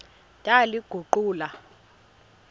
ndaliguqula